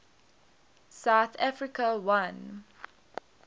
south africa won